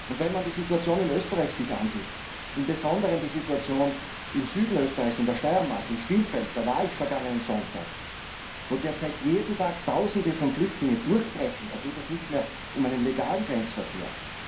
Wenn man sich die Situation in Österreich ansieht, im Besonderen die Situation im Süden Österreichs, in der Steiermark, in Spielfeld da war ich vergangenen Sonntag wo derzeit jeden Tag Tausende von Flüchtlingen durchbrechen, da geht es nicht mehr um einen legalen Grenzverkehr.